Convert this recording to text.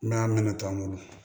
N'a mɛnna tɔ an bolo